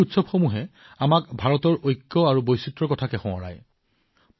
এই উৎসৱে আমাক ভাৰতৰ ঐক্যতা তথা ভাৰতৰ বৈচিত্ৰতাৰ বিষয়ে স্মৰণ কৰায়